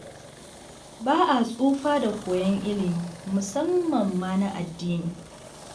Ba a tsufa da koyon ilmi, musamman ma na addini.